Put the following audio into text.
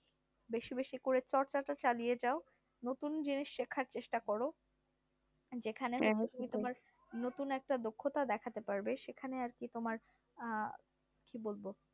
বেশি বেশি করে চর্চা টা চালিয়ে যাও নতুন জিনিস শেখার চেষ্টা করো যেখানে তোমার নতুন একটা দক্ষতা দেখাতে পারবে সেখানে আর আহ কি তোমার কি বলবো